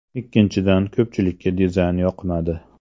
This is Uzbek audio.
Ikkinchidan ko‘pchilikka dizayn yoqmadi.